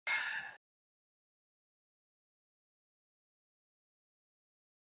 Andri: Með öðrum orðum, þetta þýðir minni aska?